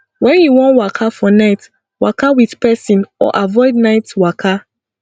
when you wan waka for night waka with person or avoid night waka